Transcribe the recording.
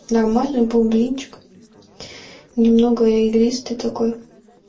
нормальный был блинчик немного элисты такой